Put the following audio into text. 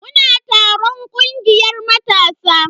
Muna taron kungiyar matasa.